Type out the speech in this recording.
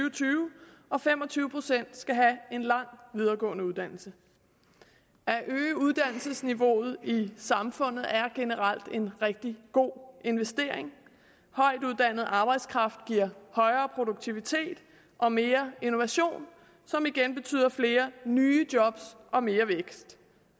og tyve og at fem og tyve procent skal have en lang videregående uddannelse at øge uddannelsesniveauet i samfundet er generelt en rigtig god investering højtuddannet arbejdskraft giver højere produktivitet og mere innovation som igen betyder flere nye job og mere vækst